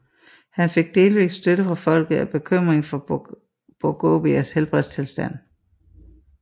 Han fik delvis støtte fra folket af bekymring for Bourguibas helbredstilstand